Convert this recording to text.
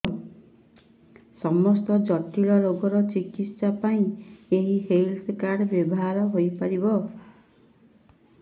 ସମସ୍ତ ଜଟିଳ ରୋଗର ଚିକିତ୍ସା ପାଇଁ ଏହି ହେଲ୍ଥ କାର୍ଡ ବ୍ୟବହାର ହୋଇପାରିବ